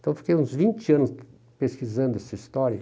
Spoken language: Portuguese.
Então, eu fiquei uns vinte anos pesquisando essa história.